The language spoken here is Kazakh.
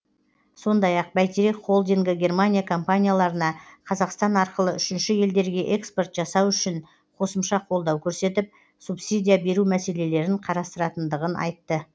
сондай ақ бәйтерек холдингі германия компанияларына қазақстан арқылы үшінші елдерге экспорт жасау үшін қосымша қолдау көрсетіп субсидия беру мәселелерін қарастыратындығын айтты